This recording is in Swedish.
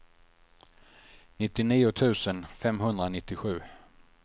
nittionio tusen femhundranittiosju